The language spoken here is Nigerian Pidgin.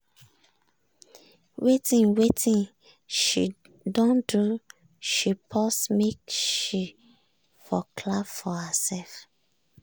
with wetin she don do she pause make she for clap for herself.